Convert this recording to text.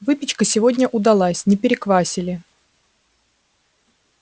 выпечка сегодня удалась не переквасили